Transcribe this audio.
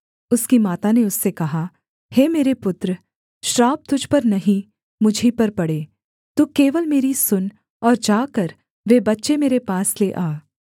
उसकी माता ने उससे कहा हे मेरे पुत्र श्राप तुझ पर नहीं मुझी पर पड़े तू केवल मेरी सुन और जाकर वे बच्चे मेरे पास ले आ